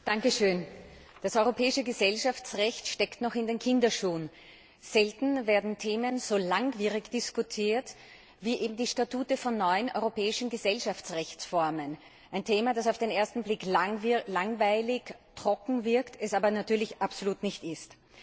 Herr Präsident! Das europäische Gesellschaftsrecht steckt noch in den Kinderschuhen. Selten werden Themen so langwierig diskutiert wie eben die Statuten von neuen europäischen Gesellschaftsrechtsformen, ein Thema, das auf den ersten Blick langweilig und trocken wirkt, es aber natürlich absolut nicht ist.